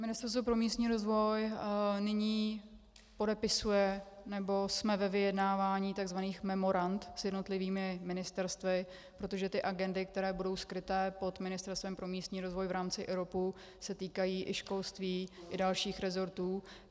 Ministerstvo pro místní rozvoj nyní podepisuje, nebo jsme ve vyjednávání tzv. memorand s jednotlivými ministerstvy, protože ty agendy, které budou skryté pod Ministerstvem pro místní rozvoj v rámci IROPu, se týkají i školství i dalších rezortů.